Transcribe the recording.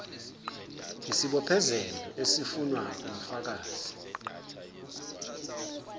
yisibophezelo esifunwa ngufakazi